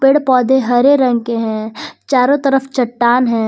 पेड़ पौधे हरे रंग के हैं चारों तरफ चट्टान है।